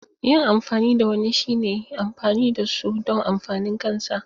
Yin amfani da wani shine amfani da su don amfanin kansa.